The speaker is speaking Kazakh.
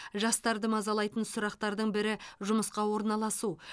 жастарды мазалайтын сұрақтардың бірі жұмысқа орналасу